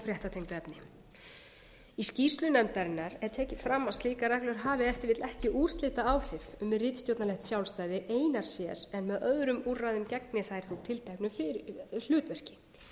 fréttatengdu efni í skýrslu nefndarinnar er tekið fram að slíkar reglur hafi ef til vill ekki úrslitaáhrif um ritstjórnarlegt sjálfstæði einar sér en með öðrum úrræðum gegna þær tilteknu hlutverki